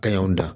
Kaɲaw dan